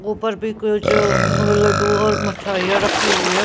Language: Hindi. ऊपर भी कुछ म लड्डू और मिठाइयां रखी हुई है.